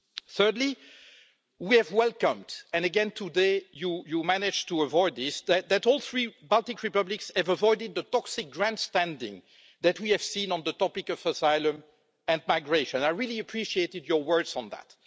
Thirdly, we have welcomed and again, today you managed to avoid this the fact that all three Baltic republics have avoided the toxic grandstanding that we have seen on the topic of asylum and migration. I really appreciated your words on that.